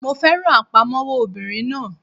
Mo fẹ́ràn àpamọ́wọ́ obìnrin náà